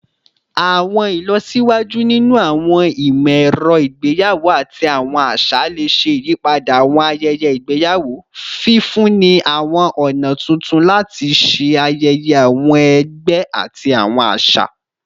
Awọn ilọsiwaju ninu awọn imọ-ẹrọ igbeyawo ati awọn aṣa le ṣe iyipada awọn ayẹyẹ igbeyawo, fifunni awọn ọna tuntun lati ṣe ayẹyẹ awọn ẹgbẹ ati awọn aṣa.